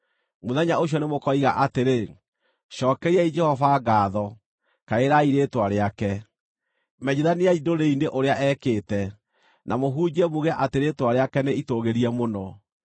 Mũthenya ũcio nĩmũkoiga atĩrĩ: “Cookeriai Jehova ngaatho, kaĩrai rĩĩtwa rĩake; menyithaniai ndũrĩrĩ-inĩ ũrĩa ekĩte, na mũhunjie muuge atĩ rĩĩtwa rĩake nĩ itũũgĩrie mũno.